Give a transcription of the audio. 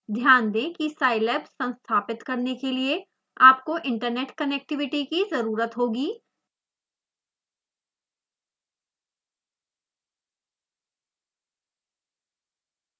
ध्यान दें कि scilab संस्थापित करने के लिए आपको इन्टरनेट कनेक्टिविटी कि ज़रुरत होगी